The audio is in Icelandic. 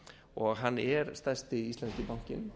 og hann er stærsti íslenski bankinn